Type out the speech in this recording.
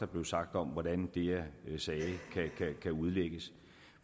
blev sagt om hvordan det jeg sagde kan udlægges